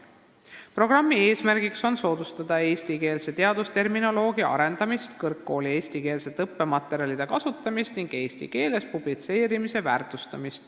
Programmi eesmärk on soodustada eestikeelse teadusterminoloogia arendamist ja kõrgkoolis eestikeelsete õppematerjalide kasutamist ning väärtustada eesti keeles publitseerimist.